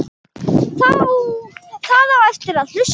Það á eftir að hlusta.